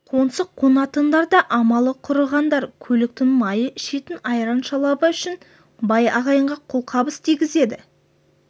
қоңсы қонатындар да амалы құрығандар көліктің майы ішетін айран-шалабы үшін бай ағайынға қолқабыс тигізеді